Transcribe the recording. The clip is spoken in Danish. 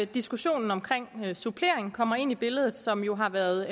diskussionen om supplering kommer ind i billedet som jo har været